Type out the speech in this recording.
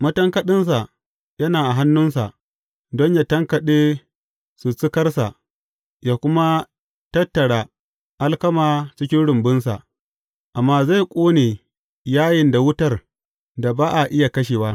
Matankaɗinsa yana a hannunsa don yă tankaɗe sussukarsa ya kuma tattara alkama cikin rumbunsa, amma zai ƙone yayin da wutar da ba a iya kashewa.